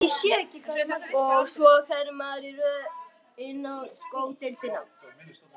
Og svo fer maður í röð inn á sko deildina.